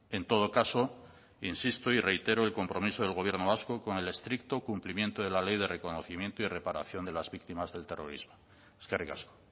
en todo caso insisto y reitero el compromiso del gobierno vasco con el estricto cumplimiento de la ley de reconocimiento y reparación de las víctimas del terrorismo eskerrik asko